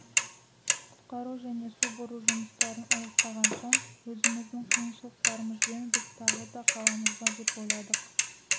құтқару және су бұру жұмыстарын аяқтаған соң өзіміздің қиыншылықтарымызбен біз тағы да қаламыз ба деп ойладық